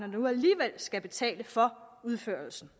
nu alligevel skal betale for udførelsen